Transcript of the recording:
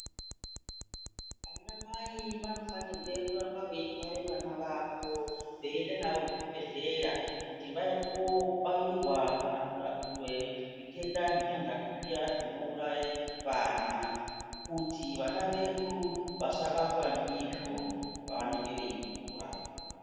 Ana mai vanofanirwe kuramba veitware vana vavo veienda navo kuzvibhedhlera kuti vaende koobairwa kana kurapiwe zvitenda zvitanhatu zviya zvinouraye vana kuti vana vedu vasabatwa ndizvo pavanenge veikura.